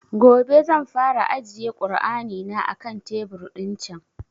Gobe zan fara ajiye kur'ani na a kan tebur ɗin can